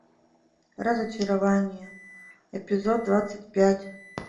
разочарование эпизод двадцать пять